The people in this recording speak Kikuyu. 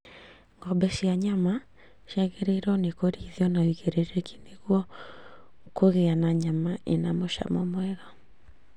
Ng'ombe cia nyama ciagĩrĩirwo nĩ kũrĩithio na ũigĩrĩrĩki nĩguo kũgĩa na nyama ĩna mũcamo mwega